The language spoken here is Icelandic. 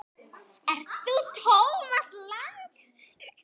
Ert þú Thomas Lang?